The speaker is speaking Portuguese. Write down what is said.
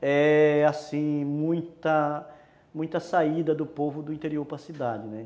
é, assim, muita saída do povo do interior para a cidade, né.